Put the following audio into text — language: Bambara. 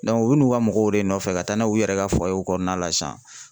u bɛ n'u ka mɔgɔw de nɔfɛ ka taa n'o ye u yɛrɛ ka kɔnɔna la sisan